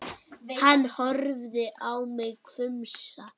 Hann horfði á mig hvumsa.